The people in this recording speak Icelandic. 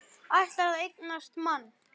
Ætlar að eignast mann.